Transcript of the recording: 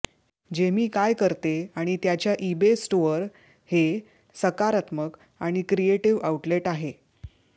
Jamie काय करते आणि त्याच्या ईबे स्टोअर हे सकारात्मक आणि क्रिएटिव्ह आउटलेट आहे